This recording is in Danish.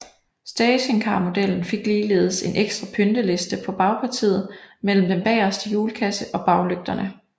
Stationcarmodellen fik ligeledes en ekstra pynteliste på bagpartiet mellem den bageste hjulkasse og baglygterne